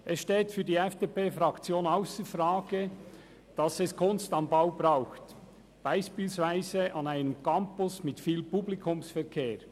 Es steht für die FDP-Fraktion ausser Frage, dass es «Kunst am Bau» braucht, beispielsweise an einem Campus mit viel Publikumsverkehr.